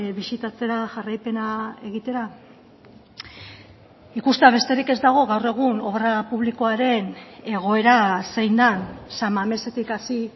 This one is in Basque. bisitatzera jarraipena egitera ikustea besterik ez dago gaur egun obra publikoaren egoera zein den san mamesetik hasi